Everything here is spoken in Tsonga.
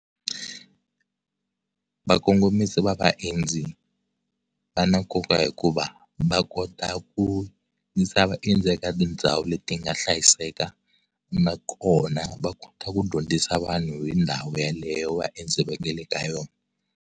Va kongomisi va vaendzi va na nkoka hikuva va kota ku yisa vaendzi eka tindhawu leti nga hlayiseka na kona va kota ku dyondzisa vanhu hi ndhawu yeleyo vaendzi va nga le ka yona.